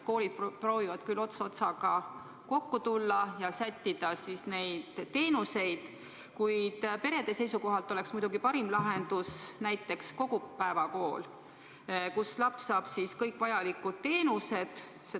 Koolid proovivad küll ots-otsaga kokku tulla ja neid teenuseid sättida, kuid perede seisukohalt oleks muidugi parim lahendus näiteks kogupäevakool, kus laps saaks kõik vajalikud teenused.